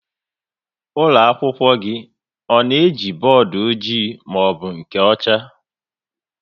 Ụlọakwụkwọ gị ọ na-eji bọọdụ ọjị maọbụ nke ọcha?